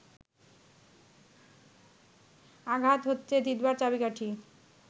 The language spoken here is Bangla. আঘাত হচ্ছে জিতবার চাবিকাঠি